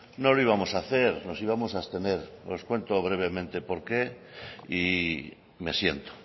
no lo íbamos a hacer nos íbamos a abstener os cuento brevemente por qué y me siento